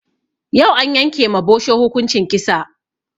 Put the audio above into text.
Yau an yanke ma bosho hukunci kisa